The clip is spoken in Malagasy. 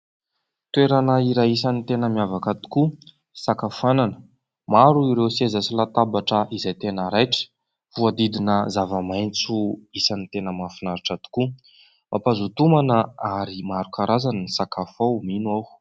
Toerana iray isany tena miavaka tokoa, fisakafoanana. Maro ireo seza sy latabatra izay tena raitra, voahodidina zava-maintso isan'ny tena mahafinaritra tokoa. Mampazoto homana ary maro karazany ny sakafo ao, mino aho.